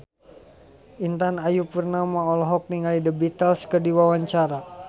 Intan Ayu Purnama olohok ningali The Beatles keur diwawancara